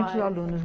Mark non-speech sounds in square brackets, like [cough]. [unintelligible] alunos.